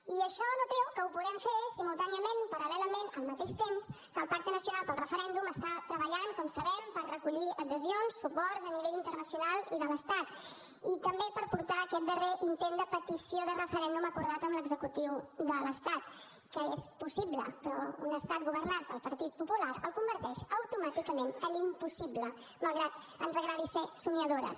i això no treu que ho podem fer simultàniament paral·lelament al mateix temps que el pacte nacional pel referèndum està treballant com sabem per recollir adhesions suports a nivell internacional i de l’estat i també per portar aquest darrer intent de petició de referèndum acordat amb l’executiu de l’estat que és possible però un estat governat pel partit popular el converteix automàticament en impossible malgrat que ens agradi ser somiadores